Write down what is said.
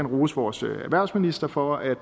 rose vores erhvervsminister for at